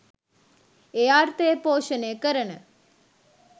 ඒ අර්ථය පෝෂණය කරන